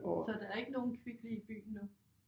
Så der er ikke nogen Kvickly i byen nu?